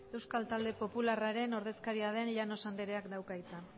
euskal talde popularraren ordezkaria den llanos andereak dauka hitza